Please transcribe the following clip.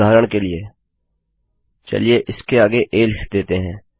उदाहरण के लिए चलिए इसके आगे आ लिख देते हैं